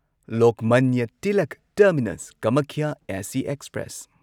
Lokmanya Tilak terminus Kamakhya AC express